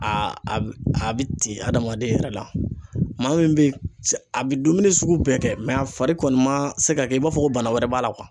A a bɛ a bɛ ten adamaden yɛrɛ la, maa min bɛ yen a bɛ dumuni sugu bɛɛ kɛ mɛ a fari kɔni ma se ka kɛ i b'a fɔ ko bana wɛrɛ b'a la